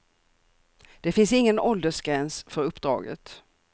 Det finns ingen åldersgräns för uppdraget.